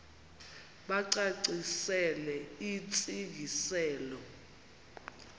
bacacisele intsi ngiselo